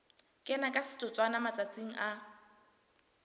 kena ka setotswana matsatsing a